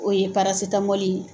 O ye parasitamɔli ye.